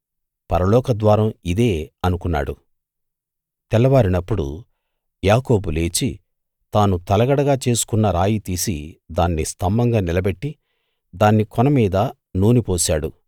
పరలోకద్వారం ఇదే అనుకున్నాడు తెల్లవారినప్పుడు యాకోబు లేచి తాను తలగడగా చేసుకున్న రాయి తీసి దాన్ని స్తంభంగా నిలబెట్టి దాని కొనమీద నూనె పోశాడు